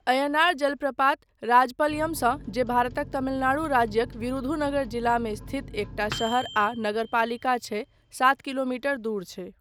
अय्यनार जलप्रपात राजपलयमसँ, जे भारतक तमिलनाडु राज्यक विरुधुनगर जिलामे स्थित एकटा शहर आ नगरपालिका छै, सात किलोमीटर दूर छै।